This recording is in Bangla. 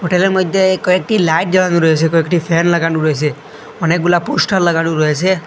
ঘরের মইধ্যে কয়েকটি লাইট জ্বালানো রয়েছে কয়েকটি ফ্যান লাগানো রয়েছে অনেকগুলা পোস্টার লাগানো রয়েছে।